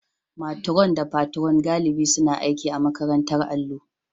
matron da Patron galibi suna aiki a makarantar allo